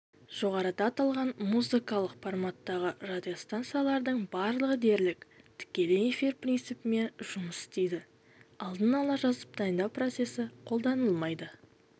жоғарыда аталған музыкалық форматтағы радиостанциялардың барлығы дерлік тікелей эфир принципімен жұмыс істейді алдын-ала жазып дайындау процесі қолданылмайды